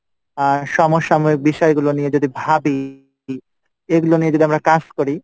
আহ সমসাময়িক বিষয় গুলো নিয়ে যদি ভাবি এগুলো নিয়ে যদি আমরা কাজ করি,